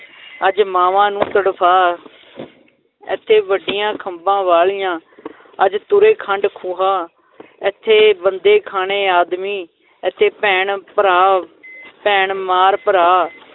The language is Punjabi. ਅੱਜ ਮਾਵਾਂ ਨੂੰ ਤੜਫਾ ਏਥੇ ਵੱਡੀਆਂ ਖੰਭਾਂ ਵਾਲੀਆਂ ਅੱਜ ਤੁਰੇ ਖੰਡ ਖੁਹਾ ਏਥੇ ਬੰਦੇ-ਖਾਣੇ ਆਦਮੀ ਏਥੇ ਭੈਣ ਭਰਾ ਭੈਣ ਮਾਰ ਭਰਾ